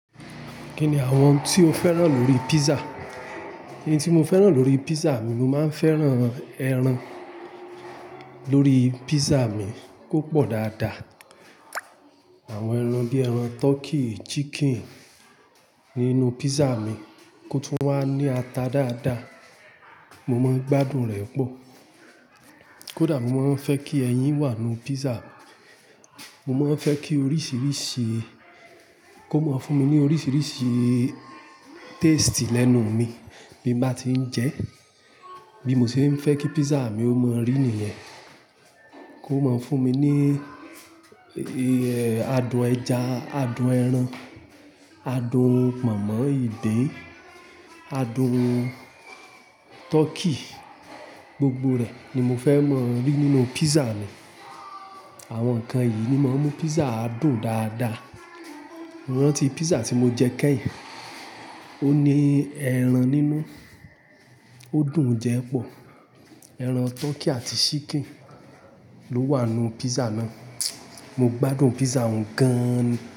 Kí ni àwọn ohun tí o fẹ́ràn lórí pizza? N tí mo fẹ́ràn lórí pizza mi, mo máa ń fẹ́ràn ẹran lórí pizza mi kó pọ̀ dáadáa. Àwọn ẹran bí ẹran turkey, chicken nínú pizza mi kó tún wà ní ata dáadáa, mo máa ń gbádùn rẹ̀ pọ̀. Kódà mo máa ń fẹ́ kí ẹyin wà nínú pizza mi. Mo máa ń fẹ́ kí oríṣiríṣi kó máa fún mi ní oríṣiríṣi taste lẹ́nu mi, bí n bá tí ń jẹ ẹ́. Bí mo ṣe ń fẹ́ kí pizza mi ó mọrí nìyẹn, kó máa fún mi ní adùn ẹja, adùn ẹran, adùn pọnmọ, ìgbin, adùn turkey, gbogbo rẹ̀ ni mo fẹ́ máa ń rí nínú pizza mi. Àwọn nǹkan yìí ni máa ń mú pizza dùn dáadáa. Mo rántí pizza tí mo jẹ kẹ́yìn, ó ní ẹran nínú, ó dùn jẹ pọ̀. Ẹran turkey àti chicken ló wà nú pizza náà. Mo gbádùn pizza òun gan an ni.